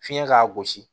Fiɲɛ k'a gosi